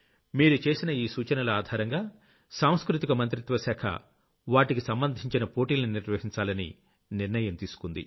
మీరు చేసిన ఈ సూచనల ఆధారంగా సాంస్కృతిక మంత్రిత్వ శాఖ వాటికి సంబంధించిన పోటీల్ని నిర్వహించాలని నిర్ణయం తీసుకుంది